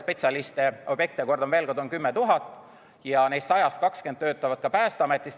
Neist 100-st 20 töötavad Päästeametis.